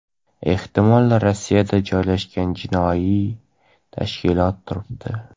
ehtimol Rossiyada joylashgan jinoiy tashkilot turibdi.